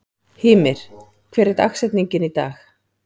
Hymir, hver er dagsetningin í dag?